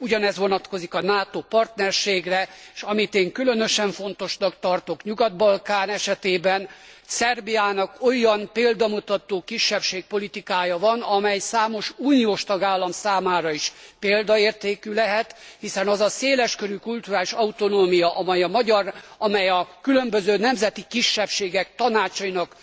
Ugyanez vonatkozik a NATO partnerségre, és amit én különösen fontosnak tartok a Nyugat Balkán esetében, Szerbiának olyan példamutató kisebbségpolitikája van, amely számos uniós tagállam számára is példaértékű lehet, hiszen az a széleskörű kulturális autonómia, amely a különböző nemzeti kisebbségek tanácsainak